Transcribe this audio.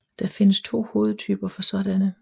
Der findes to hovedtyper for sådanne